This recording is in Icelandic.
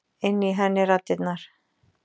Inni í henni raddirnar.